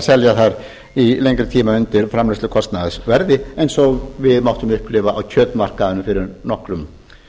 selja þær í lengri tíma undir framleiðslukostnaðarverði eins og við máttum upplifa á kjötmarkaðnum fyrir nokkrum